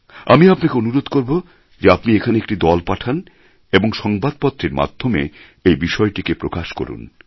আমি আপনাকে অনুরোধ করবো যে আপনি এখানে একটি দল পাঠান অথবা সংবাদপত্রের মাধ্যমে এই বিষয়টিকে প্রকাশ করুন